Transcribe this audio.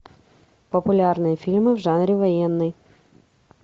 популярные фильмы в жанре военный